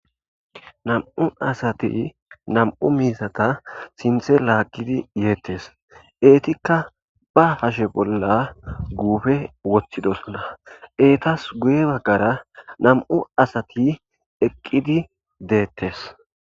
nam7u asati nam7u miizata sinthe laagidi yeettes eetikka ba hashe bolla guufe woththidosuna eetas guye baggara nam7u asati eqqidi deettes.